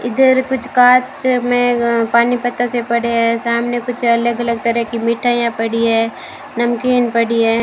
इधर कुछ कांच से में पानी बतासे पड़े हैं सामने कुछ अलग अलग तरह की मिठाइयां पड़ी है नमकीन पड़ी है।